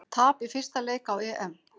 Tap í fyrsta leik á EM